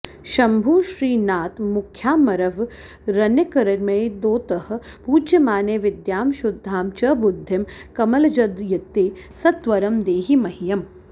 शम्भुश्रीनाथमुख्यामरवरनिकरैर्मोदतः पूज्यमाने विद्यां शुद्धां च बुद्धिं कमलजदयिते सत्वरं देहि मह्यम्